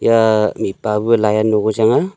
yaa mihpah buu lai ano ko chang ahh.